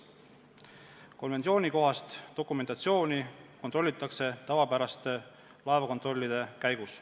Konventsioonikohast dokumentatsiooni kontrollitakse tavapäraste laevakontrollide käigus.